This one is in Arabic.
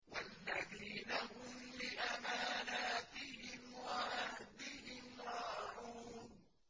وَالَّذِينَ هُمْ لِأَمَانَاتِهِمْ وَعَهْدِهِمْ رَاعُونَ